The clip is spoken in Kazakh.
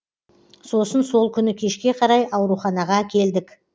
сосын сол күні кешке қарай ауруханаға әкелдік